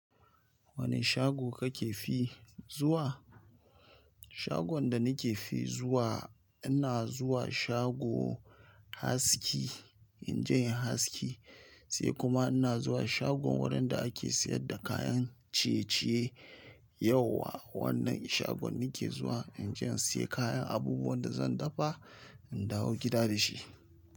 Wane shago kake fi zuwa? Shagon da nake fi zuwa, ina zuwa shago Haski, injin Haski sai kuma ina zuwa shagon wurin da ake sayar da kayan ciye-ciye. Yau wa wannan shagon nike zuwa, injin in siyan kayan abubuwan da zan dafa, in dawo gida da shi.